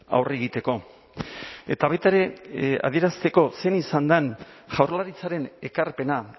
aurre egiteko eta baita ere adierazteko zein izan den jaurlaritzaren ekarpena